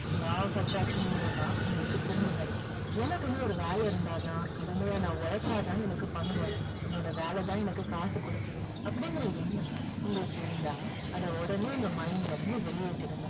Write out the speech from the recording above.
law of attraction மூலமா உங்களுக்கு திரும்ப கிடைக்கும் எனக்குன்னு ஒரு வேலை இருந்தா தான் கடுமையா நான் உழைச்சா தான் எனக்கு பணம் வரும் என்னோட வேலை தான் எனக்கு காசு கொடுக்குது அப்படிங்குற எண்ணம் உங்களுக்கு இருந்தா அதை உடனே உங்க mind ல இருந்து வெளியேத்திடுங்க